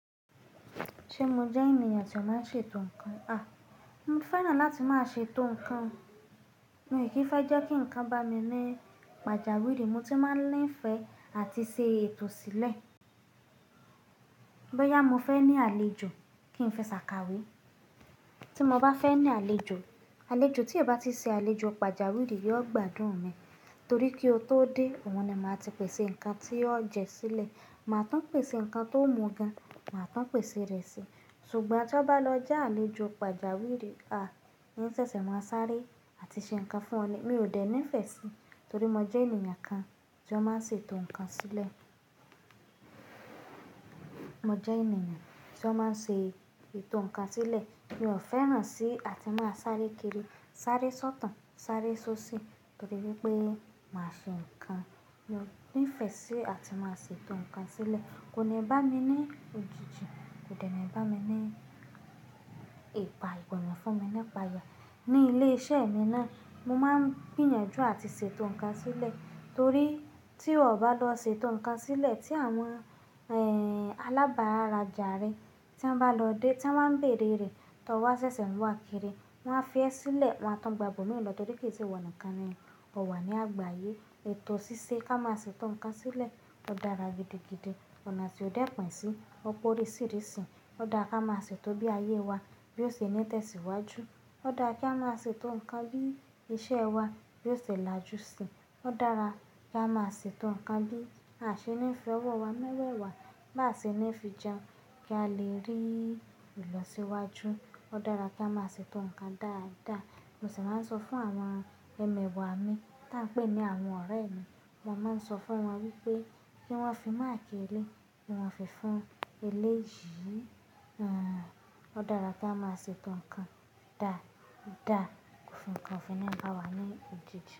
Ṣé mo jẹ́ ènìyàn tí ó máa ń ṣètò nǹkan? À, mo fẹ́ràn láti máa ṣètò nǹkan. Mi ò kí ń fẹ́ jẹ́ kí nnkan bá mi ní pàjáwìrì, mo ti máa ń nifẹ̀ àti ṣe ètò sílẹ̀. Bóyá mo fẹ́ ní àlejò kí ń fẹ́ ṣàkàwé. Tí mo bá fẹ́ ní àlejò, àlejò tí o bá ti ṣe àlejò pàjáwìrì yóò gbádùn mi, torí kí ó tó dé, òhun ni màá ti pèsè nnkan tí ó jẹ sílẹ̀, màá tun pèsè ǹnkan tó mú gan, màá tán pèsè rẹ sì. Ṣùgbọ́n tí ó bá lọ já àlejò pàjáwìrì, à, n sẹ̀sẹ̀ màá sáré àti ṣe nnkan fún ọ̀ni. Mi ò dẹ́ ńifẹ̀ síi, torí mo jẹ́ ènìyàn kan tí ó máa ń ṣètò nnkan sílẹ̀. Mo jẹ́ ènìyàn tí ó máa ń ṣètò nnkan sílẹ̀. Mi ò fẹ́ràn sí àti máa sáré kiri, sáré sọ́tàn, sáré sóṣì, torí wípé màá ṣe nnkan. Mo níìfẹ̀ sí àti máa ṣètò nnkan sílẹ̀. Kò ní bá mi ní òjijì, kò dẹ́ ni bá mi ní ìpà ìpọ̀n, kò ní fún mi ní pàyà. Ní ilé iṣẹ́ mi náà, mo máa ń gbìyànjú àti ṣètò nnkan sílẹ̀, torí tí ó bá lọ ṣètò nnkan sílẹ̀, tí àwọn, ẹ́ n, alábàrájà rẹ tí wọ́n bá lọ dé, tí wọ́n máa ń bèerè rẹ̀, "tọ wá ṣẹ̀sẹ̀ ń wá kiri", wọ́n á fẹ́ sílẹ̀, wọ́n á tàn gbàbọ̀ mí lọ torí kì í ṣe ìwọ̀ nikan ni ó wà ní àgbáyé. Ètò ṣíṣe ká máa ṣètò ǹkan sílẹ̀ ó dára gidigidi. Ọ̀nà tí ó dẹ́ pẹ̀ sí, ọ̀pọ̀ oríṣìíríṣìí. Ó dára ká máa ṣètò bí ayé wa bí ó ṣe ní tẹ́síwájú. Ó dára ká máa ṣètò nnkan bí iṣẹ́ wa bí ó ṣe làjú síi. Ó dára ká máa ṣètò nnkan bí àṣẹ níí fi ọwọ́ wa mọ́ wẹ̀ wá, bá ṣe níí fi jẹun kí a lè rí ìlọsíwájú. Ó dára ká máa ṣètò nnkan dáadáa. Mo sì máa ń sọ fún àwọn ẹmẹ̀wà mi tá a pè ní àwọn ọ̀rẹ́ mi. Mo máa ń sọ fún wọn wípé kí wọ́n fi máakìí elé, kí wọ́n fi fún eléyìí. À, ó dára ká máa ṣètò nnkan dáadáa fún nnkan tí ó fi ní bá wà ní òjijì.